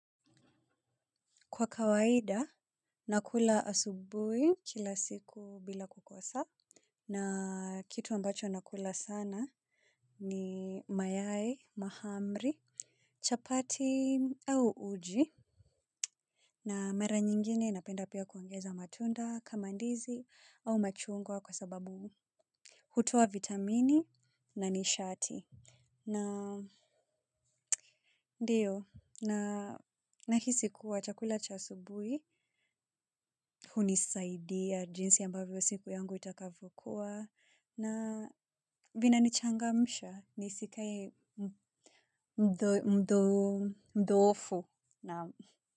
Kwa kawaida, nakula asubuhi kila siku bila kukosa. Na kitu ambacho nakula sana ni mayai, mahamri, chapati au uji. Na mara nyingine napenda pia kuongeza matunda kama ndizi au machungwa kwa sababu. Hutoa vitamini na nishati. Na ndiyo na nahisi kuwa chakula chasubui hunisaidia jinsi ambavyo siku yangu itakavyo kuwa na vinanichangamisha nisikae mdhoofu.